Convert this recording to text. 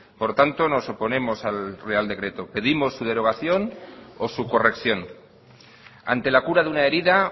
por lo tanto nos oponemos al real decreto pedimos su derogación o su corrección ante la cura de una herida